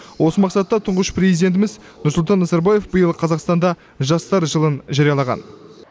осы мақсатта тұңғыш президентіміз елбасы нұрсұлтан назарбаев биыл қазақстанда жастар жылын жариялаған